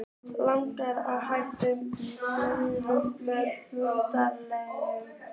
Langar að hræra í blóðinu með fingrunum.